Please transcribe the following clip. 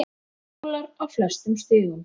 Skólar á flestum stigum.